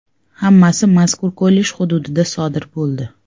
Hammasi mazkur kollej hududida sodir bo‘ldi.